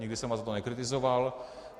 Nikdy jsem vás za to nekritizoval.